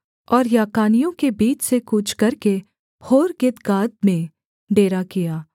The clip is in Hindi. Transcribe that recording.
और याकानियों के बीच से कूच करके होर्हग्गिदगाद में डेरा किया